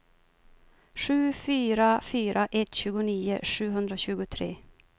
sju fyra fyra ett tjugonio sjuhundratjugotre